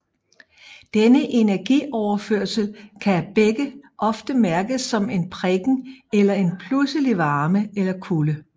Denne energioverførsel kan af begge ofte mærkes som en prikken eller en pludselig varme eller kulde